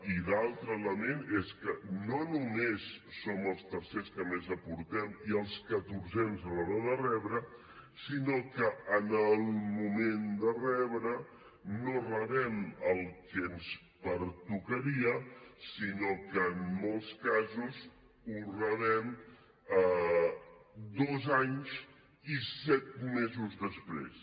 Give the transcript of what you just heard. i l’altre element és que no només som els tercers que més aportem i els catorzens a l’hora de rebre sinó que en el moment de rebre no rebem el que ens pertocaria sinó que en molts casos ho rebem dos anys i set mesos després